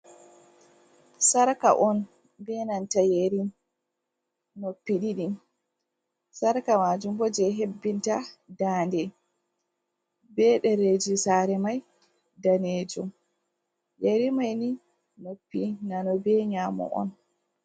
Sarka on be nanta yeri noppi ɗiɗi. Sarka majon bo je hebbinta dañde be ɗereji sare mai danejum yeri mai ni noppi nano be nyamo on.